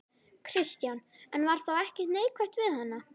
Kristján: En var þá ekkert neikvætt við hana?